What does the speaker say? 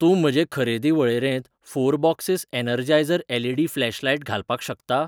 तूं म्हजे खरेदी वळेरेंत four boxes Energizer LED flashlight घालपाक शकता?